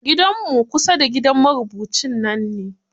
Gidanmu kusa da gidan marubucin nan ne.